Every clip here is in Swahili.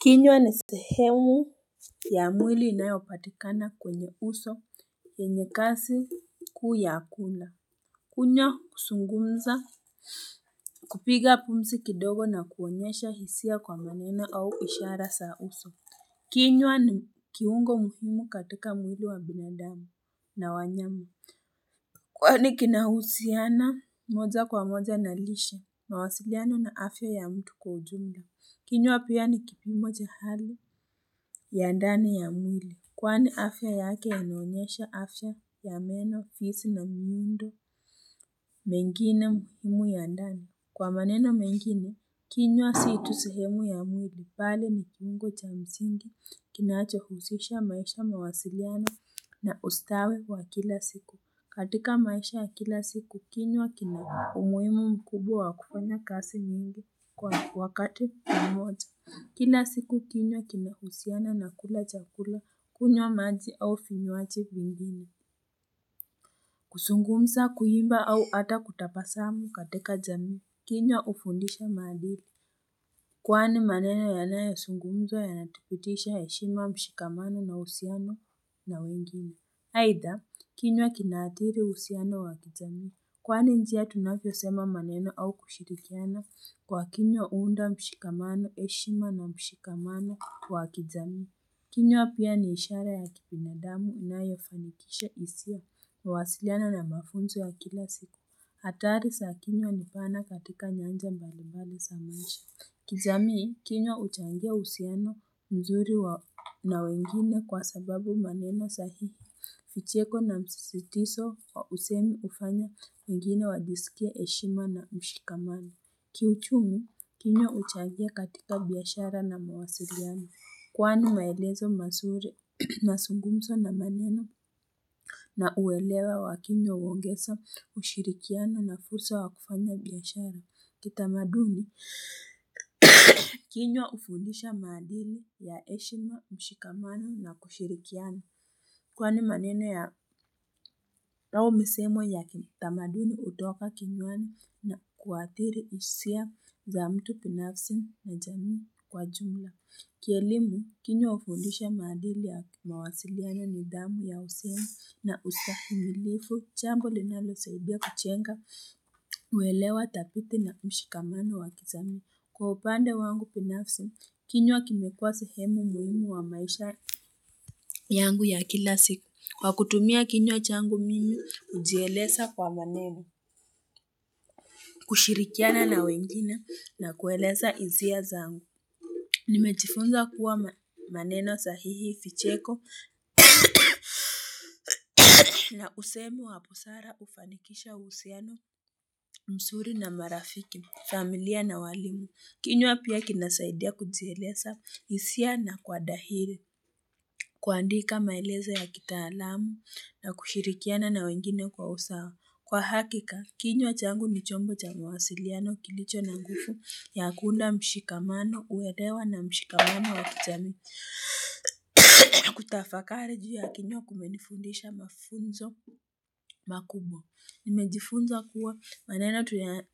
Kinyo ni sehemu ya mwili inayopatikana kwenye uso enye kasi kuu ya akula. Kunya kusungumza kupiga pumsi kidogo na kuonyesha hisia kwa manena au ishara saa uso. Kinywa ni kiungo mfumu katika mwili wa binadami na wanyamu. Kwa ni kinahusiana moja kwa moja na lisha na wasiliana na afya ya mtu kwa ujunda. Kinywa apu ya ni kipimoja hali. Ya ndani ya mwili. Kwani afya yake ya naonyesha afya ya meno, fisi na mwindo mengine muhimu ya ndani. Kwa maneno mengine, kinwa situsihemu ya mwili pale ni kingo cha msingi kinache husisha maisha mawasiriana na ustawe wa kila siku. Katika maisha ya kila siku, kinwa kina umuimu mkubu wa kufanya kasi mingi kwa wakati ya moja. Kila siku kinywa kina husiana na kula chakula kunyo maji au finuaji vingini. Kusungumza kuiba au ata kutapasamu katika jamii. Kinywa ufundisha madhiri. Kwani maneno yanaya sungumzo yanatipitisha eshimu wa mshikamano na usiana na wengine. Haitha, kinyo kinaadhiri usiana wa kijamii. Kwani njia tunapyo sema maneno au kushirikiana kwa kinywa uunda mshikamano eshima na mshikamano wa kizami. Kinyo apia ni ishara ya kipinadamu na yofanikisha isia na wasiliana na mafunzo wa kila siku. Hatari sa kinywa nipana katika nyanja mbali mbali samaisha. Kizami hii kinyo uchangia usiano mzuri na wengine kwa sababu maneno sahihi. Ucheko na msisitiso wausemi ufanya mingine wajisikia heshima na mshikamana. Kiuchungu, kinyo uchagua katika biashara na mawasiriana. Kwani maelezo masure na sungumso na maneno na uwelewa wakinyo uwongesa ushirikiana na fursa wakufanya biyashara. Kitamaduni, kinyo ufundisha maadili ya eshima, mshikamana na kushirikiana. Kwa ni manena ya tao misemo ya tamadini utoka kinyuani na kuatiri usia za mtu pinafsi na jamii kwa jumla. Kielimu, kinywa ufindisha madili ya mawasiliana nidhamu ya usenu na ustafi milifu, jambo linalo saubia kuchenga mwelewa tapiti na mshikamano wa kizamii. Kwa upande wangu pinafsi, kinyo kimekuwa sehemu muhimu wa maisha yangu ya kila siku. Kwa kutumia kinyo changu mimi ujielesa kwa maneno, kushirikiana na wengine na kueleza izia zangu. Nimejifunza kuwa maneno sahihi vicheko na usemi waposara ufanikisha husiano, msuri na marafiki, familia na walimu. Kinywa pia kinasaidia kujielesa isia na kwa dahili. Kuandika maeleza ya kitaalamu na kushirikiana na wengine kwa usawa. Kwa hakika, kinyo changu ni chombo changu wasiliano kilicho na ngufu ya kuunda mshikamano uedewa na mshikamano wa kichami. Kutafakari juya kinyo kumenifundisha mafunzo makubo. Nimejifunza kuwa manena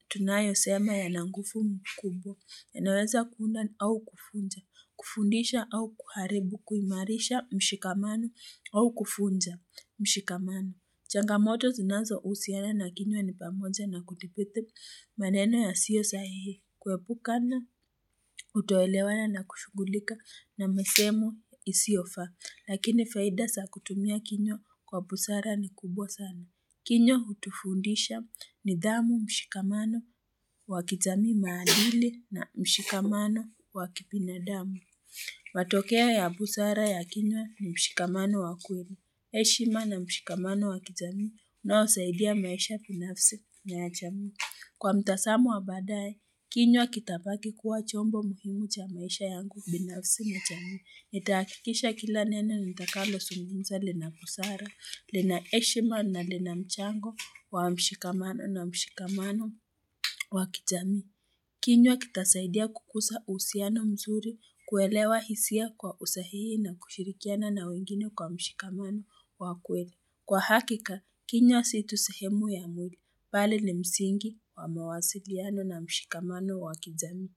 tunayo sema ya nguvu mkubwa ya naweza kuunda au kufundisha, kufundisha au kuharebu kuimarisha mshikamano au kufundza mshikamano. Changamoto zinazo usiana na kimya ni pamoja na kutipithi maneno ya siyo sahihi. Kuepuka na utoelewana na kufugulika na mesemu isiofa. Lakini faida sa kutumia kinywa kwa busara ni kubwa sana. Kinyo hutufundisha ni damu mshikamano wa kijamii na mshikamano wa kipina damu. Watokea ya busara ya kinyo ni mshikamano wa kubwa. Heshima na mshikamano wakijamii na usaidia maisha binafsi nga jami. Kwa mtasamu wabadae, kinywa kitapaki kuwa chombo muhimu cha maisha yangu binafsi mga jami. Netakikisha kila nene nitakalo zunguminza lina busara, lina heshima na lina mchango wa mshikamano na mshikamano wakijamii. Kinyo kitasaidia kukusa usiano mzuri kuelewa hisia kwa usahii na kushirikiana na wengine kwa mshikamano wa kwele. Kwa hakika, kinywa situ sehemu ya mwili, pale ni msingi wa mawasiliano na mshikamano wa kizami.